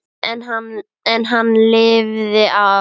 En hann lifði af.